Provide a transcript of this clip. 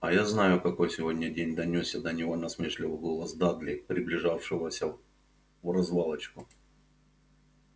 а я знаю какой сегодня день донёсся до него насмешливый голос дадли приближавшегося вразвалочку